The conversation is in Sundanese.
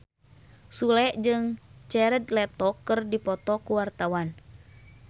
Sule jeung Jared Leto keur dipoto ku wartawan